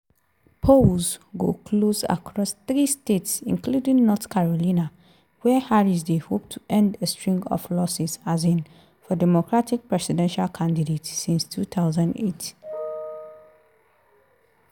polls go close across three states including north carolina wia harris dey hope to end a string of losses um for democratic presidential candidates since 2008.